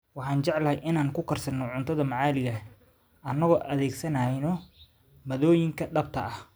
Waxaan jecelnahay inaan ku karsano cuntada maxaliga ah anagoo adeegsanayna maaddooyinka dhabta ah.